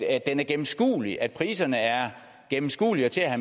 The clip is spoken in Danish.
er gennemskuelig og at priserne er gennemskuelige og til at